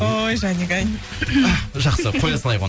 ой жаник ай жақсы қоя салайық оны